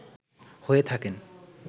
হয়ে থাকেন